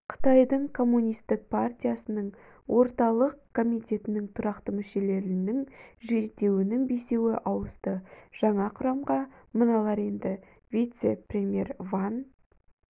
қытайдың коммунистік партиясының орталық комитетінің тұрақты мүшелерінің жетеуінің бесеуі ауысты жаңа құрамға мыналар енді вице-премьер ван